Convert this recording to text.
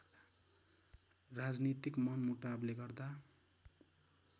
राजनीतिक मनमुटावले गर्दा